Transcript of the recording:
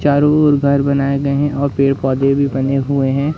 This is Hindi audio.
चारों ओर घर बनाए गए हैं और पेड़ पौधे भी बने हुए हैं।